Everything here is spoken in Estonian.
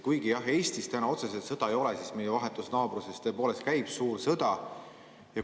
Kuigi Eestis otseselt sõda ei ole, siis meie vahetus naabruses tõepoolest käib suur sõda.